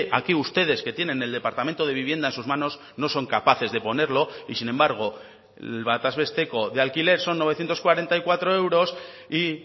aquí ustedes que tienen el departamento de vivienda en sus manos no son capaces de ponerlo y sin embargo el bataz besteko de alquiler son novecientos cuarenta y cuatro euros y